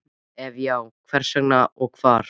Ef já, hvers vegna og hvar?